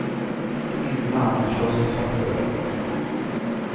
Inte med armen förstås, det fattar du väl.